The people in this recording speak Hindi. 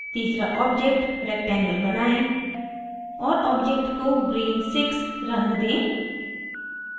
तीसरा object rectangle बनाएं और object को green 6 रंग दें